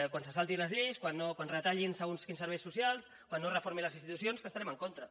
quan se salti les lleis quan retallin segons quins serveis socials quan no reformi les institucions que hi estarem en contra